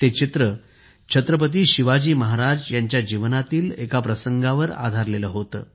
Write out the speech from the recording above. ते चित्र छत्रपती शिवाजी महाराज यांच्या जीवनातील एका प्रसंगावर आधारलेले होते